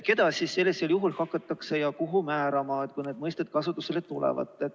Keda siis kuhu hakatakse määratlema, kui need mõisted kasutusele tulevad?